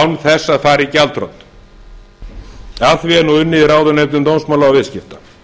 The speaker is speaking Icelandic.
án þess að fara í gjaldþrot að því er nú unnið í ráðuneytum dómsmála og